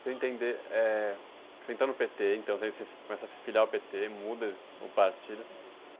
Queria entender, eh, você entrou no pê-tê, então, você começa a se filiar ao pê-tê, muda o partido.